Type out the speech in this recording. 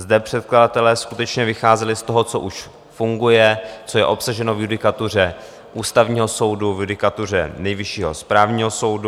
Zde předkladatelé skutečně vycházeli z toho, co už funguje, co je obsaženo v judikatuře Ústavního soudu, v judikatuře Nejvyššího správního soudu.